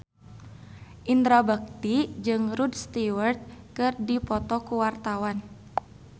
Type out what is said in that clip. Indra Bekti jeung Rod Stewart keur dipoto ku wartawan